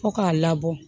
Fo k'a labɔ